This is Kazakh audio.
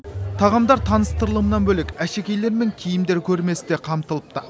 тағамдар таныстырылымынан бөлек әшекейлер мен киімдер көрмесі де қамтылыпты